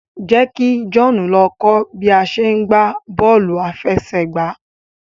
jẹ kí John ló kọ bi a ṣe gbà bóòlù afẹsẹgba